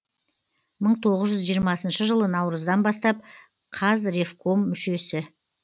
мың тоғыз жүз жиырмасыншы жылы наурыздан бастап қазревком мүшесі